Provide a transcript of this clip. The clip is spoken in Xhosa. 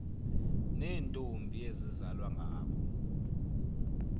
neentombi ezizalwa ngabo